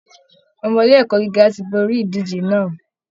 Ọmọ ilé ẹ̀kọ́ gíga ti borí ìdíje náà